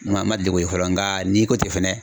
N ma n ma deli k'o ye fɔlɔ nga n'i ko ten fɛnɛ